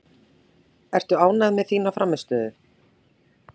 Ertu ánægð með þína frammistöðu?